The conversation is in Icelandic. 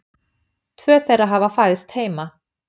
Tvö þeirra hafa fæðst heima